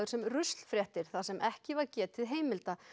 sem þar sem ekki var getið heimilda